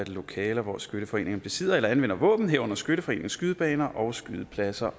lokaler hvor skytteforeninger besidder eller anvender våben herunder skytteforeningens skydebaner og skydepladser